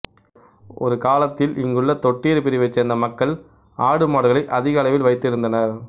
ஒருகாலத்தில் இங்குள்ள தொட்டியர் பிரிவைச் சேர்ந்த மக்கள் ஆடு மாடுகளை அதிக அளவில் வைத்து இருந்தனர்